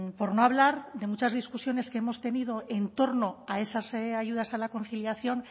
por no hablar de muchas discusiones que hemos tenido en torno a esas ayudas a la conciliación